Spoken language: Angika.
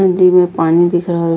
नदी में पानी दिख रहल --